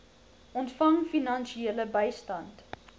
ontvang finansiële bystand